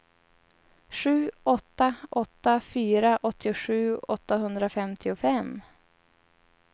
sju åtta åtta fyra åttiosju åttahundrafemtiofem